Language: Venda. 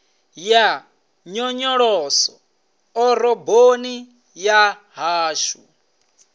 ya nyonyoloso ḓoroboni ya hashu